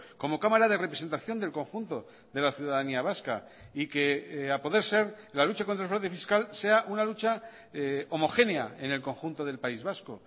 como cámara de representación del conjunto de la ciudadanía vasca y que a poder ser la lucha contra el fraude fiscal sea una lucha homogénea en el conjunto del país vasco